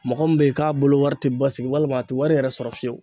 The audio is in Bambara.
Mɔgɔ min be ye k'a bolo wari te basigi walima a te wari yɛrɛ sɔrɔ fiyewu